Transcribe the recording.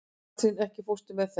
Katrína, ekki fórstu með þeim?